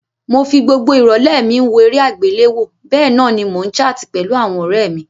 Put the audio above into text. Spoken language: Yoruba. Mo fi gbogbo ìrọ̀lẹ́ mi n wo eré àgbéléwo bénan ni mo n chart pẹ̀lu àwon ọ̀rẹ mí